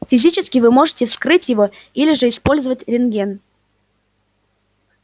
физически вы можете вскрыть его или же использовать рентген